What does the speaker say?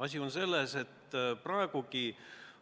Asi on selles, et praegu käib